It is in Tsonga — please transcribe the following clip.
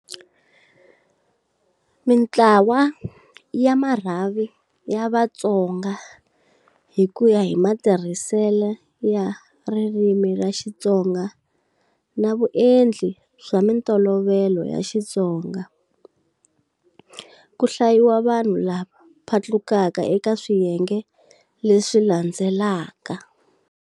Mintlawa ya marhavi ya Vatsonga hi kuya hi matirhiselo ya ririmi ra Xitsonga na vuendli bya mintolovelo ya Xitsonga, ku hlayiwa vanhu lava phatlukaka eka swiyenge leswi landzelaka.